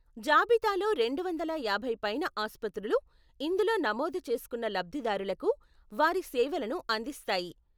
జాబితాలో రెండు వందల యాభై పైన ఆస్పత్రులు ఇందులో నమోదు చేసుకున్న లబ్ధిదారులకు వారి సేవలను అందిస్తాయి.